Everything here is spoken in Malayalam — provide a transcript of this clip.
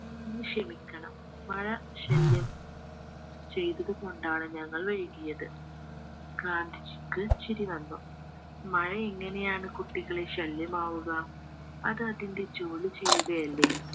അങ്ങ് ക്ഷമിക്കണം മഴ ശല്യം ചെയ്തത്കൊണ്ടാണ് ഞങ്ങൾ വൈക്കിയത് ഗാന്ധിജിക്ക് ചിരി വന്നു മഴ എങ്ങനെയാണ് കുട്ടികളെ ശല്യമാവുക അത് അതിന്റെ ജോലി ചെയ്യുകയല്ലേ